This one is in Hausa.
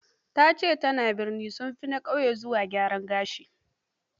Ta ce; tanen birni, sun fi na ƙauye zuwa gidan gyaran gashi.